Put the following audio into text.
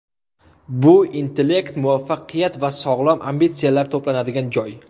Bu intellekt, muvaffaqiyat va sog‘lom ambitsiyalar to‘planadigan joy.